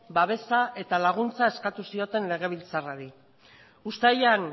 babesa eta laguntza eskatu zioten legebiltzarrari